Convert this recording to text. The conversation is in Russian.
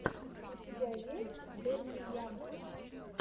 у тебя есть дэдди янки